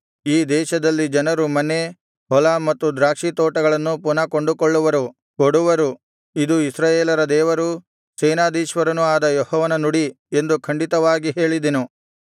ಈ ದೇಶದಲ್ಲಿ ಜನರು ಮನೆ ಹೊಲ ಮತ್ತು ದ್ರಾಕ್ಷಿತೋಟಗಳನ್ನು ಪುನಃ ಕೊಂಡುಕೊಳ್ಳುವರು ಕೊಡುವರು ಇದು ಇಸ್ರಾಯೇಲರ ದೇವರೂ ಸೇನಾಧೀಶ್ವರನೂ ಆದ ಯೆಹೋವನ ನುಡಿ ಎಂದು ಖಂಡಿತವಾಗಿ ಹೇಳಿದೆನು